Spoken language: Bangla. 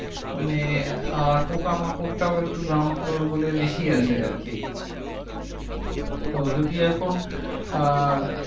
মানে পোকা মাকরটাও একটু ground floor বলে একটু বেশি আসে আর কি তো যদি এখন